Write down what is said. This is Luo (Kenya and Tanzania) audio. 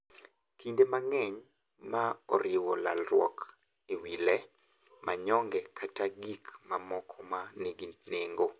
Kinde mang’eny, ma oriwo lalruok ewi le, manyonge, kata gik mamoko ma nigi nengo, .